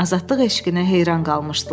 azadlıq eşqinə heyran qalmışdılar.